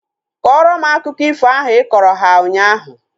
Kọrọ m akụkọ ifo ahu ịkọrọ ha ụnyaahụ!